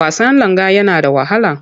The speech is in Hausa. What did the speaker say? Wasan langa yana da wahala.